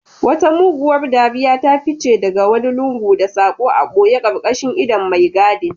Wata muguwar dariya ta fice daga wani lungu da sako a boye karkashin idon mai gadin.